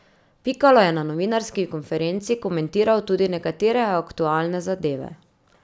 Pikalo je na novinarski konferenci komentiral tudi nekatere aktualne zadeve.